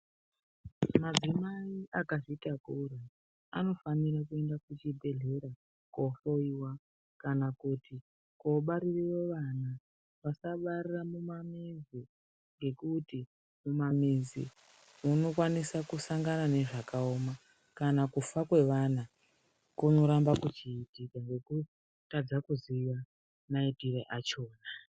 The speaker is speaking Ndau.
Madzimai akazvitakura anofanira kuenda kuchibhedhlera koohloyiwa kana kuti koobarireyo vana vasabarire mumamuzi ngekuti mumamizi unokwanisa kusangana nezvakaoma kana kufa kwevana kunoramba kuchiitika ngekutadza kuziya maitire achona.